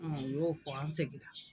u y'o fɔ an seginna.